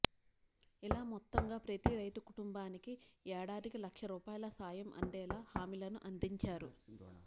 ఇలా మొత్తంగా ప్రతి రైతు కుటుంబానికి ఏడాదికి లక్ష రూపాయల సాయం అందేలా హామీలను అందించారు